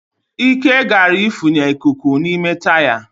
Ike gara ifunye ikuku n'ime taya